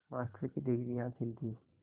master की degree हासिल की